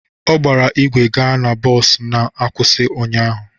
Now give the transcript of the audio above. Ọ gbara ígwè gaa na bọs na-akwụsị ụnyaahụ